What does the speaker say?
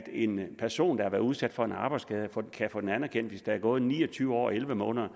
en person været udsat for en arbejdsskade kan få den anerkendt hvis der er gået ni og tyve år og elleve måneder